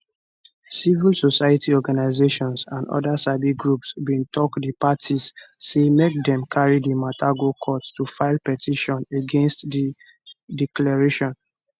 civil society organisations and oda sabi groups bin tok di parties say make dem carry di mata go court to file petition against di declaration